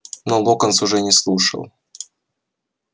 но локонс уже не слушал